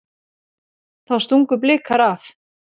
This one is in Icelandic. Þá stungu Blikar af.